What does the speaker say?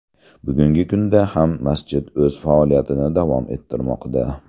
Bugungi kunda ham masjid o‘z faoliyatini davom ettirmoqda.